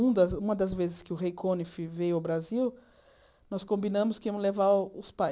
Um das uma das vezes que o Rei Conif veio ao Brasil, nós combinamos que íamos levar os